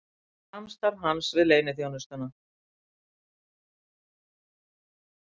Samstarf hans við leyniþjónustuna